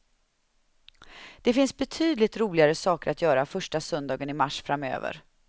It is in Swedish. Det finns betydligt roligare saker att göra första söndagen i mars framöver.